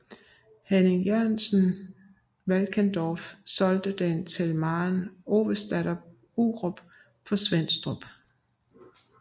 Henning Jørgensen Valkendorf solgte den til Maren Ovesdatter Urup på Svenstrup